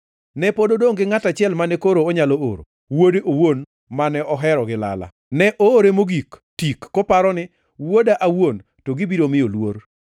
“Ne pod odongʼ gi ngʼat achiel mane koro onyalo oro: wuode owuon mane ohero gi lala. Ne oore mogik tik koparo ni, ‘Wuoda awuon to gibiro miyo luor.’